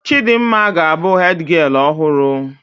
Chidimma ga abụ hedgialụ ọhụrụ